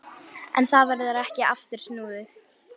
En það verður ekki aftur snúið.